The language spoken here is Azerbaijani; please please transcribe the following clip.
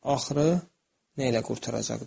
Axırı nə ilə qurtaracaqdır.